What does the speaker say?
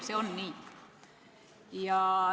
See on nii!